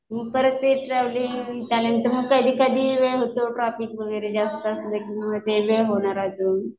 परत ते ट्रॅव्हलिंग मग कधी कधी वेळ होतो ट्राफिक वगैरे जास्त असलं की ते वेळ होतोय अजून.